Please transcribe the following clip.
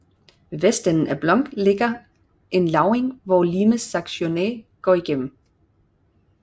Ved vestenden af Blunk ligger en lavning hvor Limes Saxoniae går gennem